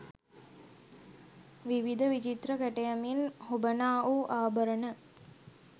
විවිධ විචිත්‍ර කැටයමින් හොබනා වූ ආභරණ